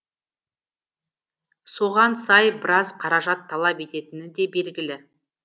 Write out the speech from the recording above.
соған сай біраз қаражат талап ететіні де белгілі